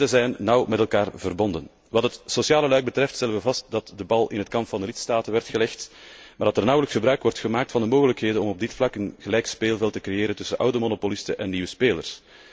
Beide zijn nauw met elkaar verbonden. Wat het sociale luik betreft stellen we vast dat de bal in het kamp van de lidstaten werd gelegd, maar dat er nauwelijks gebruik wordt gemaakt van de mogelijkheden om op dit vlak een gelijk speelveld te creëren tussen oude monopolisten en nieuwe spelers.